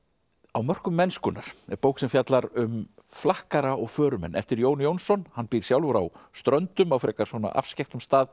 á mörkum mennskunnar er bók sem fjallar um flakkara og eftir Jón Jónsson hann býr sjálfur á Ströndum á frekar svona afskekktum stað